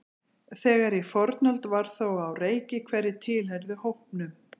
þegar í fornöld var þó á reiki hverjir tilheyrðu hópnum